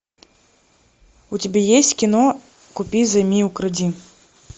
у тебя есть кино купи займи укради